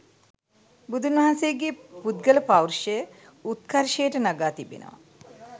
බුදුන් වහන්සේගේ පුද්ගල පෞරුෂය උත්කර්ෂයට නගා තිබෙනවා.